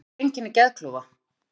Hver eru einkenni geðklofa?